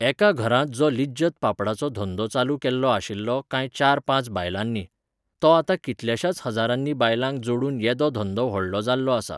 एका घरांत तो लिज्जत पापडाचो धंदो चालु केल्लो आशिल्लो कांय चार पांच बायलांनी. तो आतां कितल्याशाच हजारांनी बायलांक जोडून येदो धंदो व्हडलो जाल्लो आसा